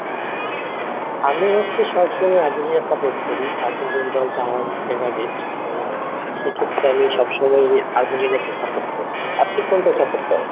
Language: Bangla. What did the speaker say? আমি হচ্ছি সব সময় আর্জেন্টিনা support করি আর্জেন্টিনা দলটা আমার অনেক favorite so সেক্ষেত্রে আমি সব সময় আর্জেন্টিনা কেই support করি, আপনি কোন দল support করেন?